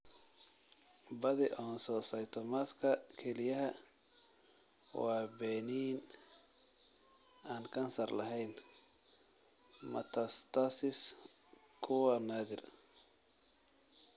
Badi oncocytomaska kelyaha waa benign (aan kansar lahayn) metastasis-ku waa naadir.